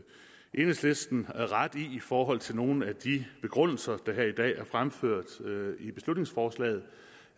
enhedslisten ret i i forhold til nogle af de begrundelser der her i dag er fremført i beslutningsforslaget